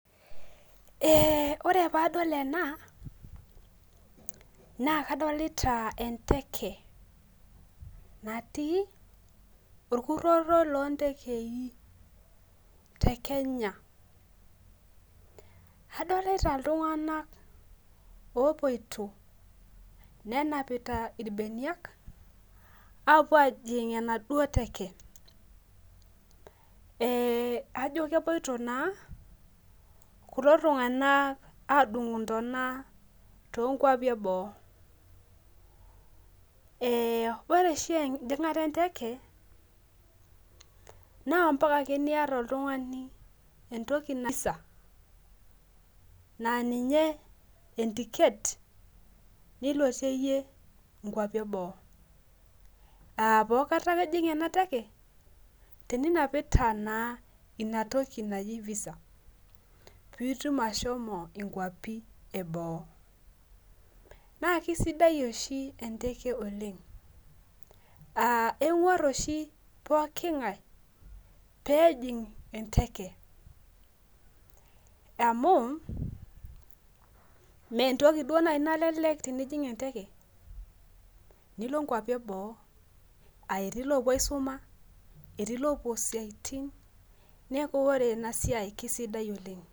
Ee lre padol ena nakadolta enteke natii orkuroro lontekei tekenya adolta ltunganak opoito nenapita irbenia apuo ajing enaduo teke ajo kepuoito na kulo tunganak adung ntana tonkwapi eboo ore oshi ejingata enteke na ambaka ake niata oltungani entoki na ninye entiket nilotie nkwapi eboo aapaakata pijing enateke tenunapita na inatoki naji visa pitum ashomo kwapi eboo na Kesidai oshi enteke oleng aa kengwar oshi pokki ngae pejing enteke amu mentoki nalelek tenijing eteke nilo nkwapi eboo etiu lopuo aisuma etij lopuo siaitin neaku ore enasia kesidai oleng.